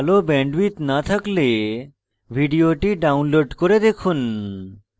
ভাল bandwidth না থাকলে ভিডিওটি download করে দেখুন